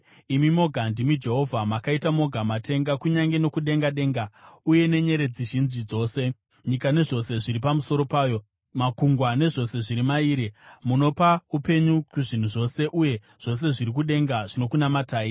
Imi moga ndimi Jehovha. Makaita moga matenga, kunyange nokudenga denga, uye nenyeredzi zhinji dzose, nyika nezvose zviri pamusoro payo, makungwa nezvose zviri maari. Munopa upenyu kuzvinhu zvose, uye zvose zviri kudenga zvinokunamatai.